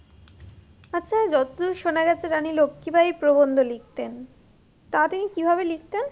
আচ্ছা যত দূর শোনা যাচ্ছে রানী লক্ষি বাই প্রবন্ধ লিখতেন তা তিনি কি ভাবে লিখতেন?